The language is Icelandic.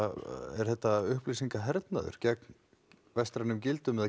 er þetta gegn vestrænum gildum eða